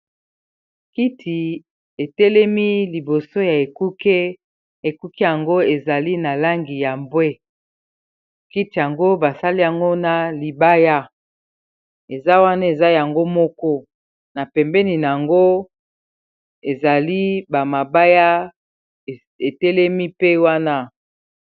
kiti etelemi liboso ya ekuke ,ekuke yango ezali na langi ya bwe kiti yango basali yango na libaya eza wana eza yango moko na pembeni na yango ezali bamabaya etelemi pe wana.